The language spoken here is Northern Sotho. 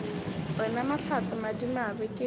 re na mahlatse madimabe ke